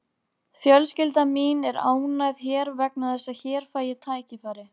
Á síðari öldum var maí álitinn fyrsti mánuður sumars.